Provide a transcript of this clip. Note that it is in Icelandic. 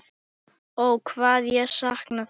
Ó hvað ég sakna þess.